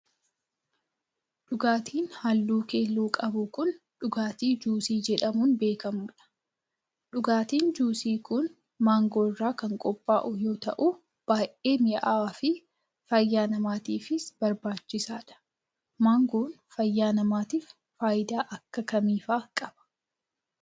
Dhugaatiin haalluu keelloo qabu kun, dhugaatii juusii jedhamuun beekamuu dha. Dhugaatiin juusii kun maangoo irraa kan qophaa'u yoo ta'u, baay'ee mi'aawaa fi fayyaa namaatiifis barbaachisaa dha. Maangoon fayyaa namaatiif faayidaa akka kamii faa qaba?